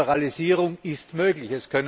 Das heißt, Liberalisierung ist möglich.